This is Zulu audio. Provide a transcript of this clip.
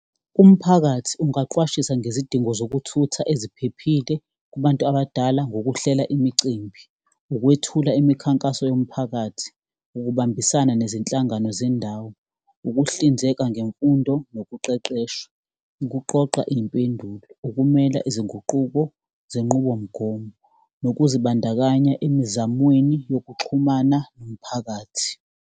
Umphakathi ungaqwashisa ngezidingo zokuthutha eziphephile kubantu abadala, ngokuhlela imicimbi, ukwethula imikhankaso yomphakathi, ukubambisana nezinhlangano zendawo, ukuhlinzeka ngemfundo nokuqeqeshwa, ukuqoqa iy'mpendulo, ukumela izinguquko zenqubomgomo, nokuzibandakanya emizamweni yokuxhumana nomphakathi.